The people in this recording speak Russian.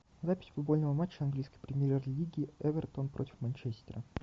запись футбольного матча английской премьер лиги эвертон против манчестера